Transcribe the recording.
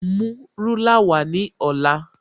Mú rúlà wá ní ọ̀la